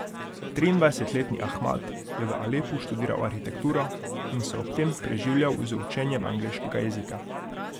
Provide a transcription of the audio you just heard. Triindvajsetletni Ahmad je v Alepu študiral arhitekturo in se ob tem preživljal z učenjem angleškega jezika.